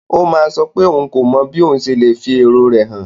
Ó máa sọ pé òun kò mọ bí ó ṣe lè fi èrò rẹ̀ hàn.